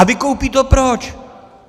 A vykoupí to proč?